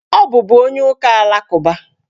Ọ bụbu onye ụka alakụba.